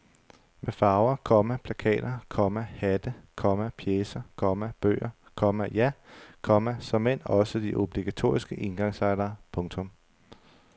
Med farver, komma plakater, komma hatte, komma pjecer, komma bøger, komma ja, komma såmænd også de obligatoriske engangslightere. punktum